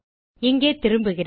இங்கே திரும்புகிறேன்